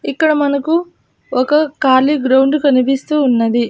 ఇక్కడ మనకు ఒక కాలీ గ్రౌండ్ కనిపిస్తూ ఉన్నది.